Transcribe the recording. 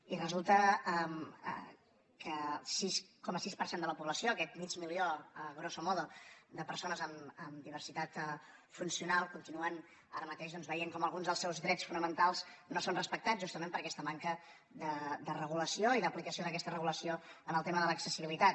i resulta que el sis coma sis per cent de la població aquest mig milió grosso modo de persones amb diversitat funcional continuen ara mateix doncs veient com alguns dels seus drets fonamentals no són respectats justament per aquesta manca de regulació i d’aplicació d’aquesta regulació en el tema de l’accessibilitat